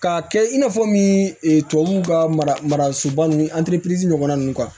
K'a kɛ i n'a fɔ min e tubabuw ka mara soba ninnu ɲɔgɔn